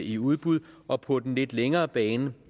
i udbud og på den lidt længere bane